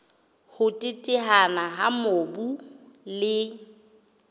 ho teteana ha mobu le